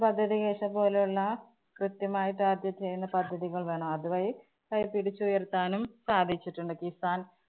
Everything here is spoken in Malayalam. പദ്ധതി പോലുള്ള കൃത്യമായി target ചെയ്യുന്ന പദ്ധതികള്‍ വേണം. അതുവഴി കൈപിടിച്ചുയര്‍ത്താനും സാധിച്ചിട്ടുണ്ട്. കിസാന്‍~